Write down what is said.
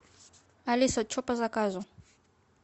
алиса что по заказу